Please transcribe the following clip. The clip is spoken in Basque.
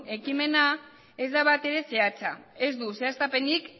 ekimena ez da batere zehatza ez du zehaztapenik